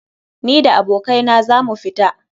Ni da abokai na za mu fita.